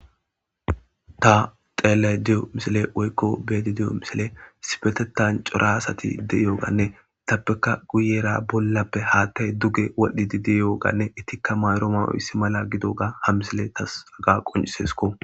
Ta xeelay diyo misile woykko beedi diyo misile sipetetan cora asati de'iyoganne itappeka guyera bollappe haattay duge wadhdhidi diyoganne ittikka mayro mawuisi mala gido ga ha misile tasaga qoncisesko.